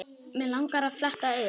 Mig langar að fletta upp.